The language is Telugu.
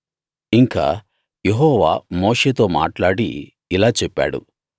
ఇంకా యెహోవా మోషేతో మాట్లాడి ఇలా చెప్పాడు